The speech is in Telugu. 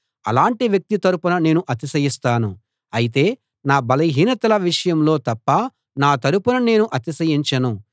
అలాంటి వ్యక్తి తరపున నేను అతిశయిస్తాను అయితే నా బలహీనతల విషయంలో తప్ప నా తరపున నేను అతిశయించను